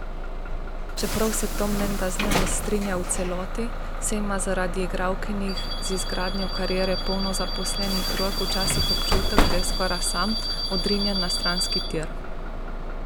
Čeprav se Tom menda z njo ne strinja v celoti, saj ima zaradi igralkinih z izgradnjo kariere polno zaposlenih rok včasih občutek, da je skoraj sam, odrinjen na stranski tir.